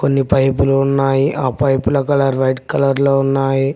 కొన్ని పైపు లు ఉన్నాయి ఆ పైపు ల కలర్ రెడ్ కలర్ లో ఉన్నాయి.